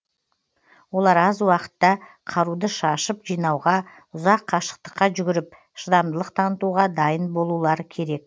олар аз уақытта қаруды шашып жинауға ұзақ қашықтыққа жүгіріп шыдамдылық танытуға дайын болулары керек